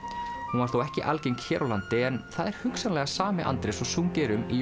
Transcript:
hún var þó ekki algeng hér á landi en það er hugsanlega sami Andrés og sungið er um í